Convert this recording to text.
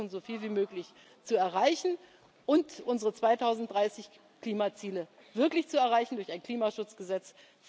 Wir werden versuchen, so viel wie möglich zu erreichen und unsere 2030 Klimaziele wirklich zu erreichen durch ein Klimaschutzgesetz.